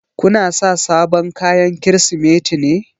Ku na sa sabon kayan Kirsimeti ne?